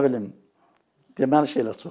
Nə bilim, deməli şeylər çoxdur.